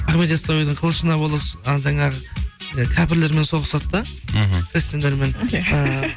ахмет йассауидің қылышына ы жаңағы і кәпірлермен соғысады да іхі христиандармен иә